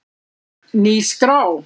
Ný skrá